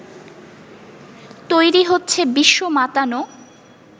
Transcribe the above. তৈরি হচ্ছে বিশ্বমাতানো